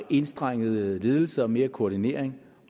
enstrenget ledelse og mere koordinering